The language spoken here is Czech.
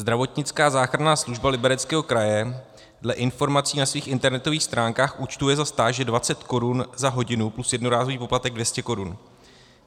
Zdravotnická záchranná služba Libereckého kraje dle informací na svých internetových stránkách účtuje za stáže 20 korun za hodinu plus jednorázový poplatek 200 korun.